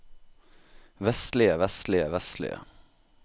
vestlige vestlige vestlige